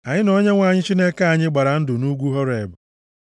Anyị na Onyenwe anyị Chineke anyị gbara ndụ nʼugwu Horeb. + 5:2 \+xt Ọpụ 19:5; Dit 4:23\+xt*